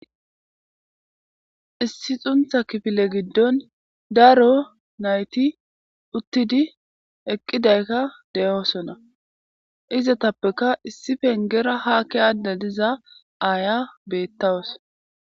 Issi xuntha kifile giddon daro nayti uttidi eqqidaykka de'oosona izatappeka issi pengera haakki aadde diza aaya bettawos.